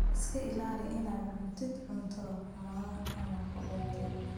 Iska ilaali inaad cuntid cunto xumaaday ama qudhuntay.